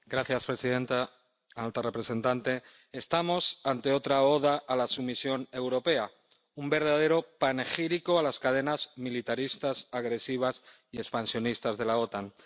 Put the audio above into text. Señora presidenta, alta representante, estamos ante otra oda a la sumisión europea, un verdadero panegírico a las cadenas militaristas, agresivas y expansionistas de la OTAN.